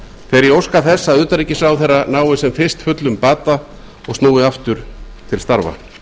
ég óska þess að utanríkisráðherra nái sem fyrst fullum bata og snúi aftur til starfa